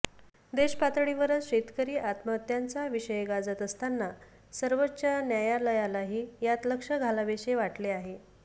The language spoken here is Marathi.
देशपातळीवरच शेतकरी आत्महत्यांचा विषय गाजत असताना सर्वोच्च न्यायालयालाही यात लक्ष घालावेसे वाटले आहे